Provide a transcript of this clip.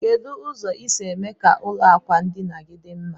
Kedu ụzọ isi eme ka ụlọ akwa ndinagi di mma?